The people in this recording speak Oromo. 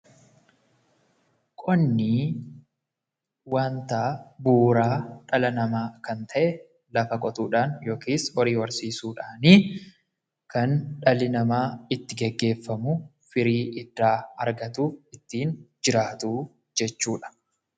Qonni wanta bu'uuraa dhala namaa kan ta'e lafa qotuudhaan yookiis horii horsiisuudhaan kan dhalli namaa itti geggeeffamu, firii irraa argatu, ittiin jiraatu jechuu dha.